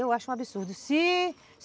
Eu acho um absurdo. Se